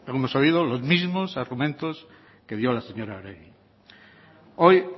hemos oído los mismos argumentos que dio la señora oregi hoy